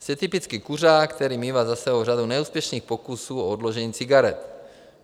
Jste typický kuřák, který mívá za sebou řadu neúspěšných pokusů o odložení cigaret.